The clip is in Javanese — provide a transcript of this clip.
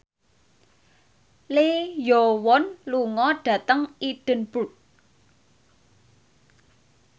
Lee Yo Won lunga dhateng Edinburgh